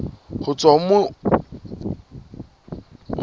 ho tswa ho moabi ya